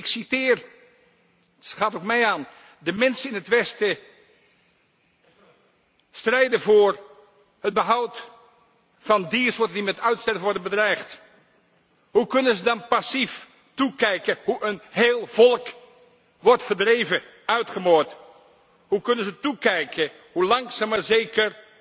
Ik citeer De mensen in het Westen strijden voor het behoud van diersoorten die met uitsterven worden bedreigd. Hoe kunnen ze dan passief toekijken hoe een heel volk wordt verdreven en uitgemoord? Hoe kunnen ze toekijken hoe langzaam maar